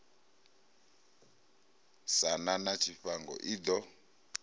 sa na tshifhango i ḓo